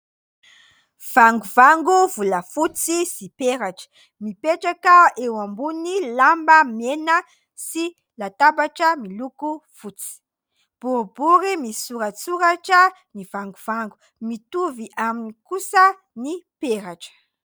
Vangovango volafotsy sy peratra mipetraka eo ambonin'ny lamba mena sy latabatra miloko fotsy. Boribory misoratsoratra ny vangovango. Mitovy aminy kosa ny peratra.